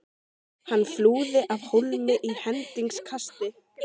Hann flúði af hólmi í hendingskasti.